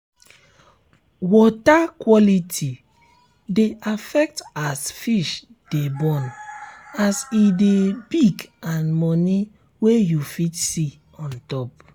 water quality dey affect as fish de born as e de big and money wen you fit see ontop